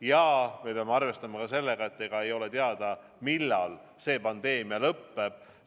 Ja me peame arvestama ka sellega, et ei ole teada, millal see pandeemia lõpeb.